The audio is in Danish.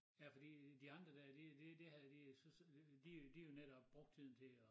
Ja fordi de andre dér de det havde de så de de jo netop brugte tiden til at